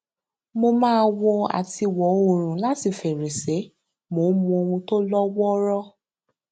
mo máa wo àtiwò oòrùn láti fèrèsé mo ń mu ohun tó lówóró